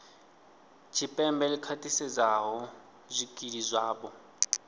tshipembe ḽi khwaṱhisedzaho zwikili zwavho